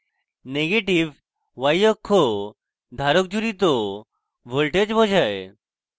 negative y অক্ষ ধারক জুড়িত voltage বোঝায়